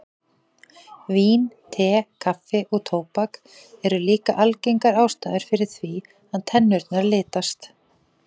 Vín, te, kaffi og tóbak eru líka algengar ástæður fyrir því að tennurnar litast.